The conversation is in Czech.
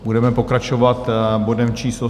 Budeme pokračovat bodem číslo